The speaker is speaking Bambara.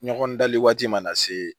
Ɲɔgɔn dali waati mana se